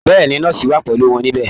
Bẹ́ẹ̀ ni, nọ́ọ̀sì wà pẹ̀lú wọn níbẹ̀